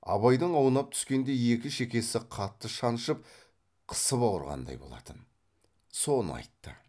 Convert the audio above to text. абайдың аунап түскенде екі шекесі қатты шаншып қысып ауырғандай болатын соны айтты